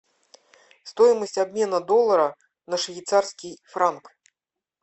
стоимость обмена доллара на швейцарский франк